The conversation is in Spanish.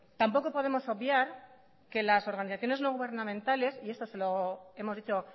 tampoco podemos obviar que las organizaciones no gubernamentales y esto se lo hemos dicho